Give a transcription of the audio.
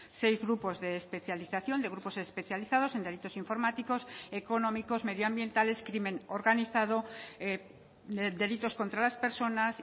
seis grupos de especialización de grupos especializados en delitos informáticos económicos medioambientales crimen organizado delitos contra las personas